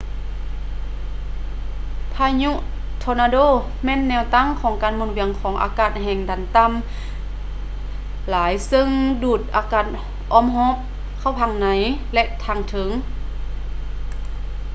ພາຍຸທໍນາໂດແມ່ນແນວຕັ້ງການໝູນວຽນຂອງອາກາດແຮງດັນຕໍ່າຫຼາຍເຊິ່ງດູດອາກາດອ້ອມຮອບເຂົ້າທາງໃນ ແລະ ທາງເທິງ